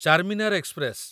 Charminar express